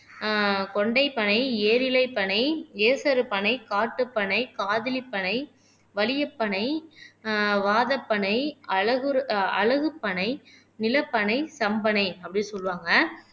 ஆஹ் கொண்டைப் பனை ஏரிலைப் பனை ஏசறுப் பனை காட்டுப் பனை காதலிப் பனை வலியப்பனை ஆஹ் வாதப்பனை அழகுஅழகுப் பனை நிலப்பனை தம்பனை அப்படின்னு சொல்லுவாங்க